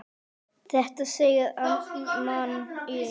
Þetta segir amman í